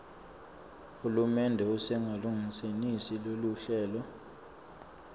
hulumende usengakalungenisi loluhlelo